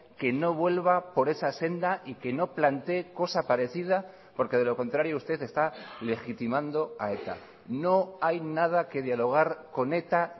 que no vuelva por esa senda y que no plantee cosa parecida porque de lo contrario usted está legitimando a eta no hay nada que dialogar con eta